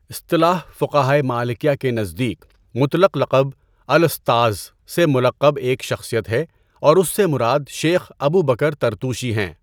اصطلاح فقہائے مالکیہ کے نزدیک مطلق لقب "الاستاذ" سے ملقب ایک شخصیت ہے اور اس سے مراد شیخ ابو بکر طرطوشی ہیں۔